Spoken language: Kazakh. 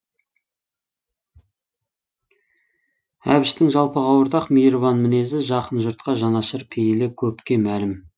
әбіштің жалпыға ортақ мейірбан мінезі жақын жұртқа жанашыр пейілі көпке мәлім